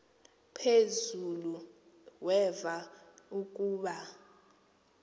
phezulu weva ukuba